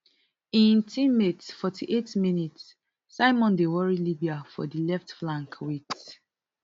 im teammate forty-eight minutes Simon dey worry libya for di left flank wit